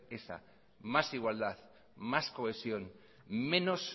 esa más igualdad más cohesión menos